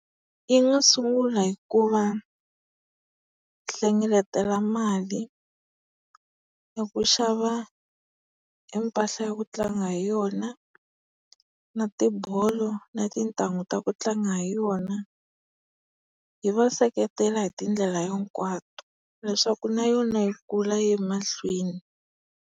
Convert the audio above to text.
Yi nga sungula hi ku va hlengeletela mali, hi ku xava e mpahla ya ku tlanga hi yona, na tibolo na tintanghu ta ku tlanga hi yona. Hi va seketela hi tindlela hinkwato leswaku na yona yi kula yi ya emahlweni.